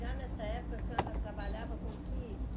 Já nessa época, a senhora trabalhava com que